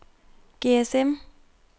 GSM